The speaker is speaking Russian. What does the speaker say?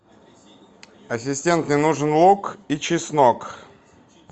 ассистент мне нужен лук и чеснок